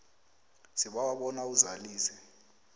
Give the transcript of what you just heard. sibawa bona uzalise